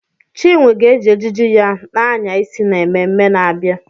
Chinwe ga-eji ejiji ya na-anya isi n'ememme na-abịa.